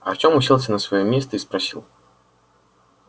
артём уселся на своё место и спросил